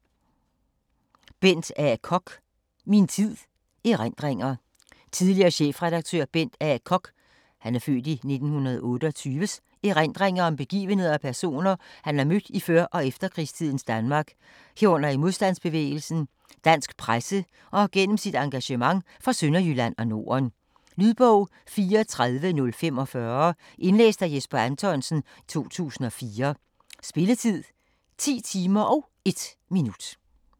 Koch, Bent A.: Min tid: erindringer Tidligere chefredaktør Bent A. Kochs (f. 1928) erindringer om begivenheder og personer, han har mødt i før- og efterkrigstidens Danmark, herunder i modstandsbevægelsen, dansk presse og gennem sit engagement for Sønderjylland og Norden. Lydbog 34045 Indlæst af Jesper Anthonsen, 2004. Spilletid: 10 timer, 1 minut.